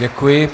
Děkuji.